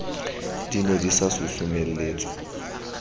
di ne di sa susumeletswa